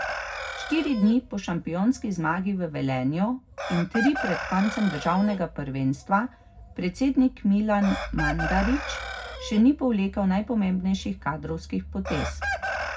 Štiri dni po šampionski zmagi v Velenju in tri pred koncem državnega prvenstva predsednik Milan Mandarić še ni povlekel najpomembnejših kadrovskih potez.